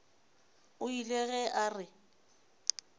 o ile ge a re